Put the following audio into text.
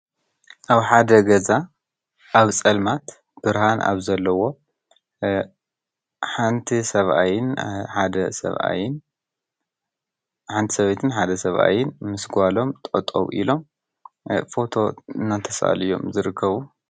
ኣብ ሓደ ገዛ ኣብ ፀልማት ብርሃን ኣብ ዘለዎ ሓንቲ ሰበይትን ሰብኣይን ምስ ጓሎም ጠጠዉ ኢሎም ፎቶ እናተሳእሉ እዮም ዝርከቡ።